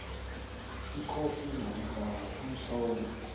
ikhophi namkha umtlolo